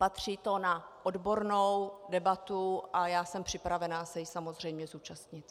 Patří to na odbornou debatu a já jsem připravena se jí samozřejmě zúčastnit.